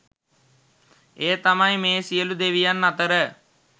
එය තමයි මේ සියලු දෙවියන් අතර